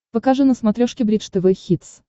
покажи на смотрешке бридж тв хитс